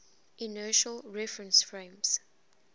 inertial reference frames